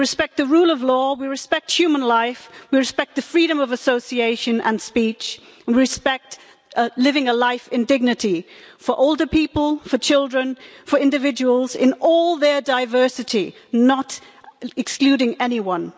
We respect the rule of law, we respect human life, we respect freedom of association and speech, and we respect living a life in dignity, for older people, for children, for individuals in all their diversity, not excluding anyone.